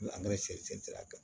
sira kan